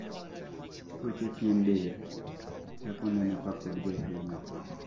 tuoche pien del chako neno kapod jatuwo nyathii